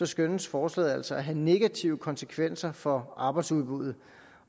skønnes forslaget altså at have negative konsekvenser for arbejdsudbuddet